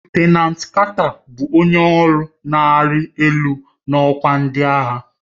Lutenanti Carter bụ onye ọrụ na-arị elu n'ọkwa ndị agha.